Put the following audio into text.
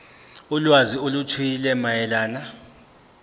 ulwazi oluthile mayelana